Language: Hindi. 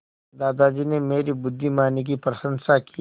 दादाजी ने मेरी बुद्धिमानी की प्रशंसा की